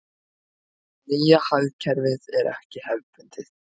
Nýja hagkerfið er ekki hefðbundið.